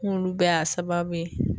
N k'olu bɛɛ y'a sababu ye